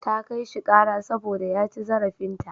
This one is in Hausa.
Ta kai shi ƙara saboda ya ci zarafinta.